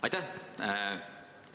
Aitäh!